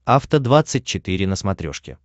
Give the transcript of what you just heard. афта двадцать четыре на смотрешке